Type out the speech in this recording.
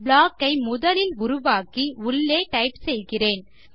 block ஐ முதலில் உருவாக்கி உள்ளே டைப் செய்கிறேன்